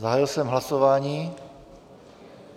Zahájil jsem hlasování.